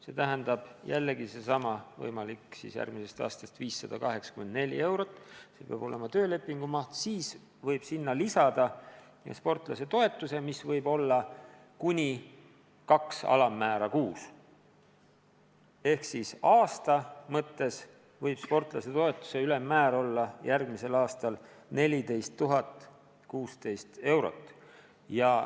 See tähendab, et töölepingu maht peab järgmisest aastast olema 584 eurot ja sinna võib lisada sportlasetoetuse, mis võib olla kuni 2 alammäära kuus ehk siis aastas võib sportlasetoetuse ülemmäär olla järgmisel aastal 14 016 eurot.